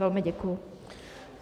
Velmi děkuji.